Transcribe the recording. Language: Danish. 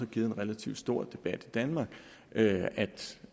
givet en relativt stor debat i danmark at